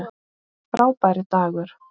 Frábær dagur.